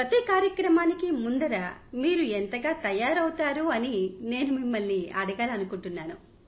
ప్రతి కార్యక్రమానికీ ముందర మీరు ఎంతగా తయారవుతారు అని నేను మిమ్మల్ని అడగాలని అనుకుంటున్నాను